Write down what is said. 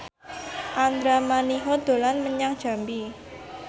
Andra Manihot dolan menyang Jambi